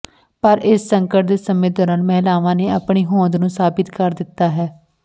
ਪਰ ਇਸ ਸੰਕਟ ਦੇ ਸਮੇਂ ਦੌਰਾਨ ਮਹਿਲਾਂਵਾਂ ਨੇ ਆਪਣੀ ਹੌਂਦ ਨੂੰ ਸਾਬਤ ਕਰ ਦਿੱਤਾ ਹੈ